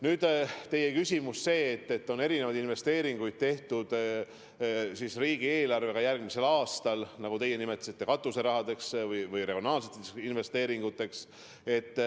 Nüüd, teie küsimus selle kohta, et on eraldatud erinevaid summasid järgmise aasta riigieelarvest katuserahadeks, nagu te nimetasite, ehk siis regionaalseteks investeeringuteks.